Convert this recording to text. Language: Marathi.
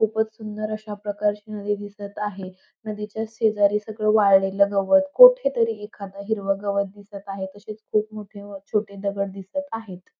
खूपच सुंदर अश्या प्रकारची नदी दिसत आहे नदीच्या शेजारी सगळ वाळलेल गवत कोठे तरी एखाद हिरवं गवत दिसत आहे तसेच खूप मोठे व छोठे दगड दिसत आहेत.